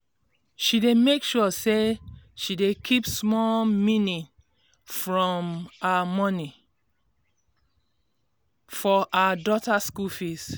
she dey make sure say she dey keep small mini from her moni for her daughter school fees.